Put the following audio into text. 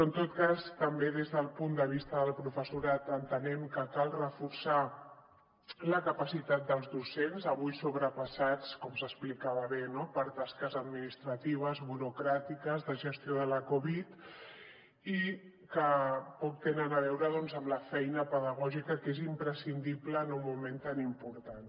en tot cas també des del punt de vista del professorat entenem que cal reforçar la capacitat dels docents avui sobrepassats com s’explicava bé no per tasques administratives burocràtiques de gestió de la covid i que poc tenen a veure doncs amb la feina pedagògica que és imprescindible en un moment tan important